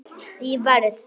Ég verð.